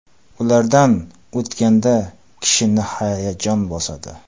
Ulardan o‘tganda kishini hayajon bosadi.